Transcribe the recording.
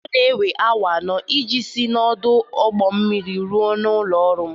Ọ na-ewe awa anọ iji si n'ọdụ ụgbọ mmiri ruo ụlọ ọrụ m.